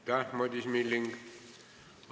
Aitäh, Madis Milling!